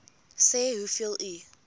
sê hoeveel u